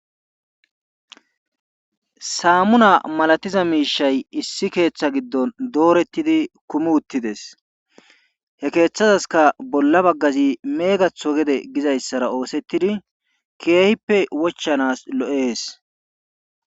Samuna malatiza miishshay issi keththa gidon dooretidi kumi uttidees he keethazaskka bolla bagazi meegatho gede oosethizi keehippe wochanas lo'ees.